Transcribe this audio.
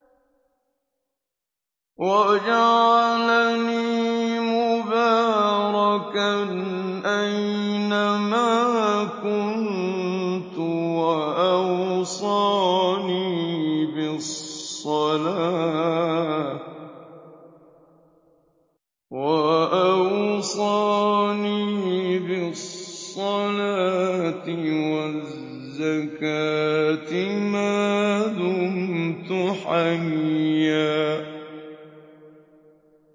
وَجَعَلَنِي مُبَارَكًا أَيْنَ مَا كُنتُ وَأَوْصَانِي بِالصَّلَاةِ وَالزَّكَاةِ مَا دُمْتُ حَيًّا